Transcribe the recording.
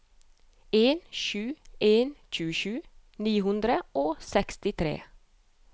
en sju en to tjuesju ni hundre og sekstitre